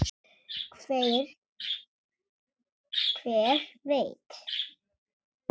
Hver veit.